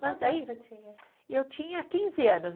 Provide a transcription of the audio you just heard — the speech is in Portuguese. Mas daí, eu tinha quinze anos.